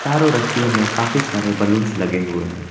रस्सियों में काफी सारे बैलून्स लगे हुए हैं।